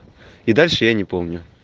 и дальше я не помню